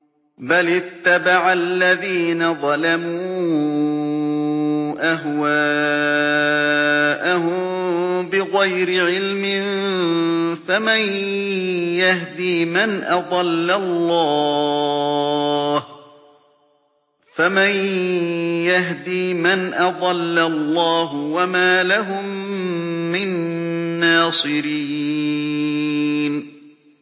بَلِ اتَّبَعَ الَّذِينَ ظَلَمُوا أَهْوَاءَهُم بِغَيْرِ عِلْمٍ ۖ فَمَن يَهْدِي مَنْ أَضَلَّ اللَّهُ ۖ وَمَا لَهُم مِّن نَّاصِرِينَ